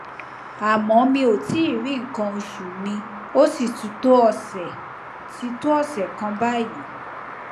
àmọ mi ò tíì rí nǹkan oṣù mi ó sì ti tó ọsẹ ti tó ọsẹ kan báyìí